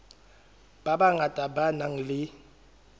ba bangata ba nang le